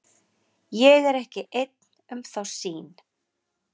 Ég er ekki einn um þá sýn.